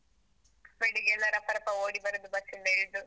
ಬೆಳಿಗ್ಗೆ ಎಲ್ಲ ರಪ ರಪ ಓಡಿ ಬರೋದು, ಬಸ್ಸಿಂದ ಇಳ್ದು.